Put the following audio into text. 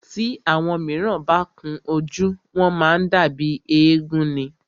Tí àwọn míràn bá kun ojú, wọ́n má ń dàbí éégún ni.